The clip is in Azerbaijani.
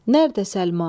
Nərdə Səlma?